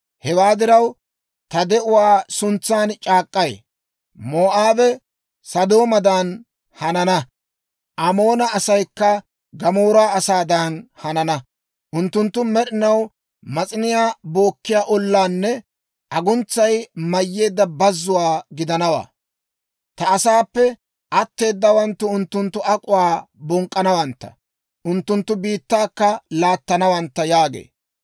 Hewaa diraw, ta de'uwaa suntsan c'aak'k'ay, Moo'aabe Sodoomadan hanana; Amoona asaykka Gamoora asaadan hanana. Unttunttu med'inaw mas'iniyaa bookkiyaa ollaanne aguntsay mayyeedda bazzuwaa gidanawaa. Ta asaappe atteedawaanttu unttunttu duretaa bonk'k'anawantta; unttunttu biittaakka laattanawantta» yaagee.